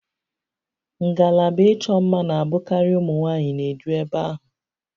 Ngalaba ịchọ mma na-abụkarị ụmụ nwaanyị n'eju eve ahụ